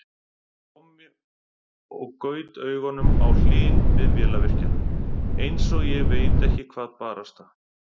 Tommi og gaut augunum á Hlyn bifvélavirkja, einsog ég veit ekki hvað barasta!